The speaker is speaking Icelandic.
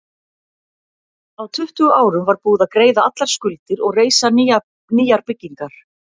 Á tuttugu árum var búið að greiða allar skuldir og reisa nýjar byggingar.